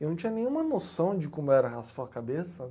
Eu não tinha nenhuma noção de como era raspar a cabeça,